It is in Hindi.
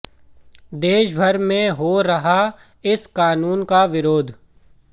देश भर में हो रहा इस कानून का विरोध